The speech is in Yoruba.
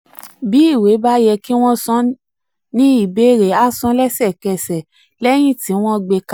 bí ìwé bá yẹ kí wọ́n san ní ìbéèrè a san lẹ́sẹ̀kẹsẹ̀ um lẹ́yìn tí um wọ́n gbé kalẹ̀.